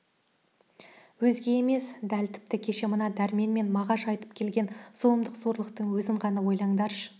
өзге емес дәл тіпті кеше мына дәрмен мен мағаш айтып келген зұлымдық зорлықтың өзін ғана ойлаңдаршы